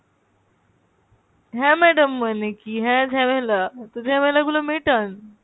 হ্যাঁ madam মানে কী হ্যাঁ ঝামেলা? তো ঝামেলা গুলো মেটান।